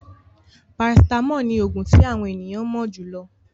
Parasitamọ́ọ̀ ní òògùn tí àwọn ènìyàn mo jùlọ.